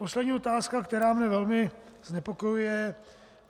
Poslední otázka, která mě velmi znepokojuje.